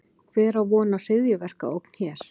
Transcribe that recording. Hver á von á hryðjuverkaógn hér?